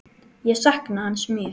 Ég sakna hans mjög.